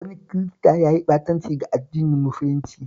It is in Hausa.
Wani Kirista ya yi ɓatanci ga addinin musulunci